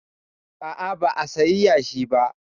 A'a ba a sayi yashi ba